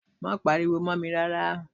Má pariwo mó mi rárá.